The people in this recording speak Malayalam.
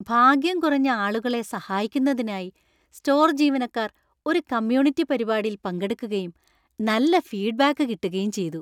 ഭാഗ്യം കുറഞ്ഞ ആളുകളെ സഹായിക്കുന്നതിനായി സ്റ്റോർ ജീവനക്കാർ ഒരു കമ്മ്യൂണിറ്റി പരിപാടിയിൽ പങ്കെടുക്കുകയും നല്ല ഫീഡ്ബാക്ക് കിട്ടുകയും ചെയ്തു.